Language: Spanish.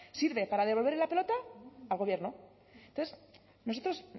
sirve para devolverle la pelota al gobierno entonces a nosotros